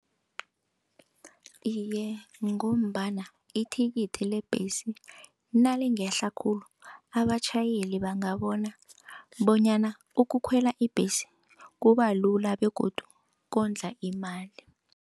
Iye, ngombana ithikithi lebhesi nalingehla khulu abatjhayeli bangabona bonyana ukukhwela ibhesi kubalula begodu kondla imali.